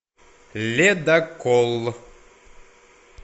ледокол